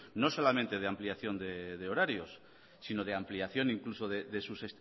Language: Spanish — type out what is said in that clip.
no solamente de ampliación de horarios sino de ampliación incluso de sus